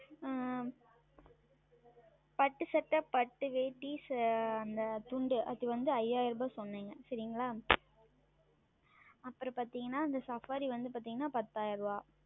ஆஹ் பட்டு சட்டை பட்டு வேட்டி அந்த துண்டு அது வந்து ஐந்தாயிரம் என்று சொன்னேன் சரிங்களா அப்புறம் பார்த்தீர்கள் என்றால் அந்த Saffari பார்த்தீர்கள் என்றால் பத்தாயிரம்